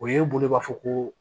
O ye e bolo b'a fɔ ko